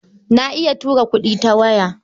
Na iya tura kuɗi ta waya.